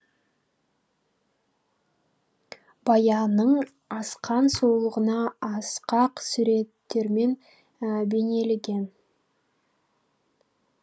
баянның асқан сұлулығына асқақ суреттермен бейнелеген